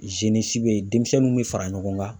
be yen ,denmisɛnninw be fara ɲɔgɔn kan